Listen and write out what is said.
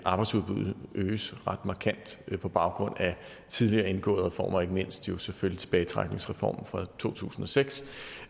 arbejdsudbuddet øges ret markant på baggrund af tidligere indgåede reformer ikke mindst jo selvfølgelig tilbagetrækningsreformen fra to tusind og seks